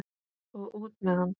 Og út með hann!